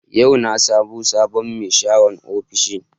Yau na samo sabon mai sharan ofishi